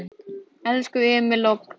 Elsku Emil, Alma og Kári.